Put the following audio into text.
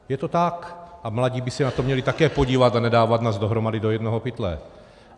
Je to tak, a mladí by se na to měli také podívat a nedávat nás dohromady do jednoho pytle.